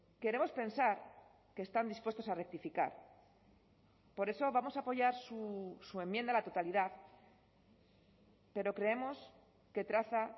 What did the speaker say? queremos pensar que están dispuestos a rectificar por eso vamos a apoyar su enmienda a la totalidad pero creemos que traza